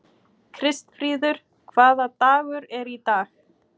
Kristfríður, hvaða dagur er í dag?